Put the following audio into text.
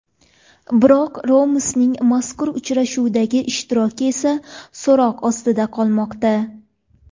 Biroq Ramosning mazkur uchrashuvdagi ishtiroki esa so‘roq ostida qolmoqda.